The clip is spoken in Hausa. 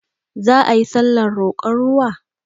Za ayi sallar roƙon ruwa?